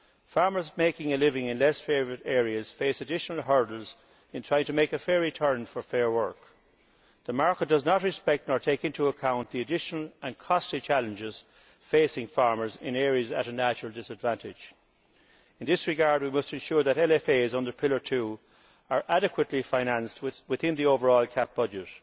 Farmers making a living in less favoured areas face additional hurdles in trying to make a fair return for fair work. The market does not respect nor take into account the additional and costly challenges facing farmers in areas at a natural disadvantage. In this regard we must be sure that LFAs under Pillar 2 are adequately financed within the overall CAP budget